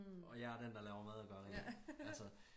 Og jeg den der laver mad og gør rent altså